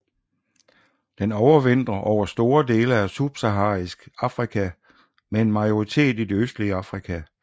Den overvintrer over store dele af subsaharisk Afrika med en majoritet i det østlige Afrika